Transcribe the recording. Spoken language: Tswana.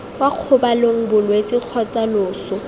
kwa kgobalong bolwetse kgotsa loso